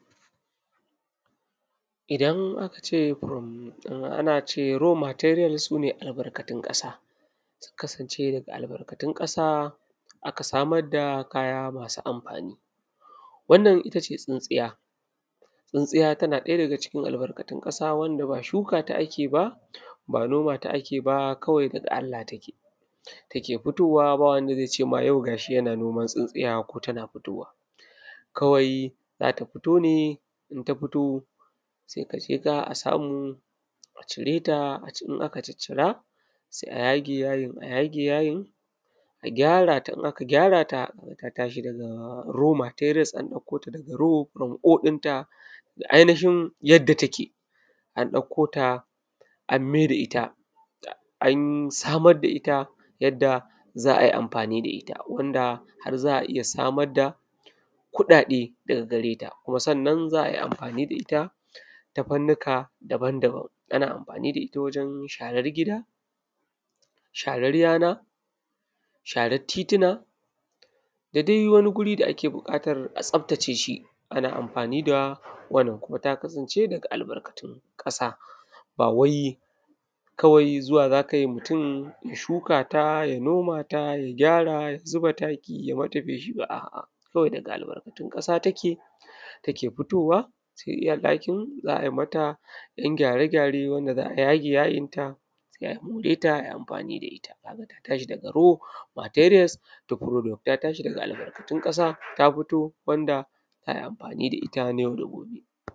Idan aka ce raw materials, ana nufin albarkatun ƙasa. Su ne abubuwan da ake samo kai tsaye daga ƙasa ba tare da an sarrafa su ba. Daga waɗannan albarkatun ƙasa ake samar da kayan amfani. Tsintsiya ma tana daga cikin albarkatun ƙasa, saboda ba shuka ce ake nomawa ba, kuma ba amfanin gona ba ne. Ita a dai daga Allah take fitowa a daji, babu wanda zai ce shi ya shuka tsintsiya ko shi ya noma ta. Idan ta fito, a hanya ko daji ake tararta, sai a tsince a kwashe. Idan aka tsince ta, sai a yi mata gyara, a ninke ta ko a daure ta yadda ta zama tsintsiya cikakkiya. Wannan yana nufin an ɗauko ta daga raw material (asalin halittarta), an gyara ta, an mayar da ita product da ake amfani da shi. Daga wannan tsintsiya za a iya samun kuɗaɗe, domin ana amfani da ita a fannoni daban-daban: wajen shara ta cikin gida, share ƙasa, share titi, da sauran wuraren da ake buƙatar tsafta. Tsintsiya tana daga albarkatun ƙasa saboda ba wai mutum ne ke shuka ta ko noma ta ba. Kawai daga daji take fitowa. Abin da ake yi shi ne a ɗauko ta, a yi mata ɗan gyare-gyare, a yage rassanta, sai ta zama amfanin yau da kullum daga raw material zuwa product da ake amfani da shi.